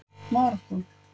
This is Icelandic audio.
Marokkó